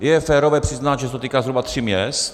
Je férové přiznat, že se to týká zhruba tří měst.